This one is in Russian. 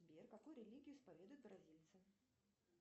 сбер какую религию исповедуют бразильцы